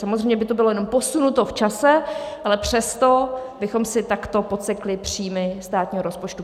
Samozřejmě by to bylo jenom posunuto v čase, ale přesto bychom si takto podsekli příjmy státního rozpočtu.